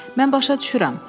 Mən başa düşürəm.